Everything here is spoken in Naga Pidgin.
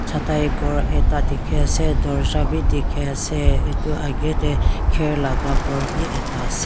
chatai ghor ekta dikhiase dorja bi dikhiase aru edu la akae tae kher laka khor bi ekta ase.